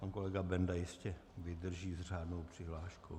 Pan kolega Benda ještě vydrží s řádnou přihláškou.